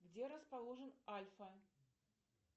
где расположен альфа